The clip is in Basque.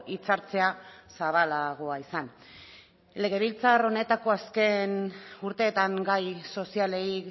hitza hartzea zabalagoa izan legebiltzar honetako azken urteetan gai sozialei